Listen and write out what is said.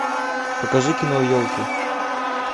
покажи кино елки